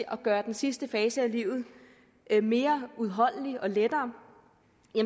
at gøre den sidste fase af livet mere udholdelig og lettere